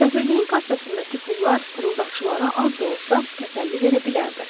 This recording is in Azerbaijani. Səfirliyin kassasındakı pullar fırıldaqçılara az da olsa təsəlli verə bilərdi.